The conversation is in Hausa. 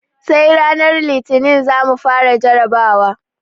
Sai ranar Litinin za mu fara jarabawa.